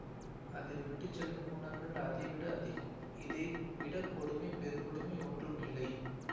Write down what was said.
அது விட்டு செல்லும் ஊனர்கள் அதைவிட அதிகம் இதைவிடக் கொடுமைபெருங்கொடுமைஒன்றும் இல்லை